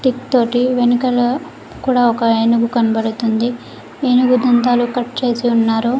Stick తోటి వెనకాల కూడా ఒక ఏనుగు కనబడుతుంది ఏనుగు దంతాలు కట్ చేసి ఉన్నారు.